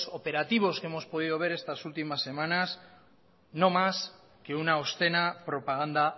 operativos que hemos podido ver estas últimas semanas no más que una obscena propaganda